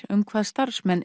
um hvað starfsmenn